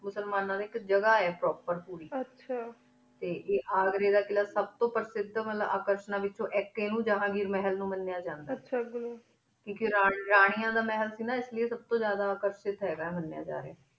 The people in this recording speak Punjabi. ਮੁਸ੍ਮਾਨਾ ਦੇ ਜਗਾ ਹੀ ਆਇਕ ਆਚਾ ਟੀ ਅਘ੍ਰੀ ਦਾ ਕਿਲਾ ਸਬ ਤੂੰ ਪਾਚਿਟਰ ਵਾਲਾ ਵੇਚੁਨ ਆਇਕ ਹੀ ਇਨੂੰ ਜਹ੍ਨ੍ਘੇਰ ਮਹਿਲ ਉਨ ਮਾਨਿਯ ਜਾਂਦਾ ਹੇਹ੍ਯ ਰਾਨਿਯਾਂ ਦਾ ਮੇਲ ਸੇ ਗਾ ਯਾ ਸਬ ਤੂੰ ਜਾਦਾ